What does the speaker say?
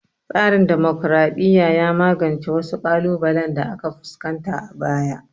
Tsarin dimokraɗiya ya magance wasu ƙalubalen da aka fuskanta a baya